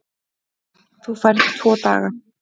Þú færð tvo daga.